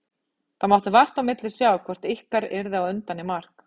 Það mátti vart á milli sjá hvort ykkar yrði á undan í mark.